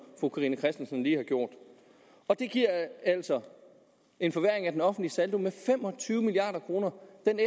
fru carina christensen lige har gjort det giver altså en forværring af den offentlige saldo med fem og tyve milliard kroner